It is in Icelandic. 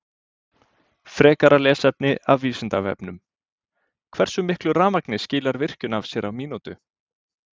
Frekara lesefni af Vísindavefnum: Hversu miklu rafmagni skilar virkjun af sér á mínútu?